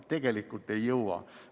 Tegelikult ei jõua.